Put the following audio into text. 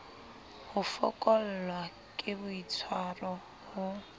ho fokollwa ke boitswaro ho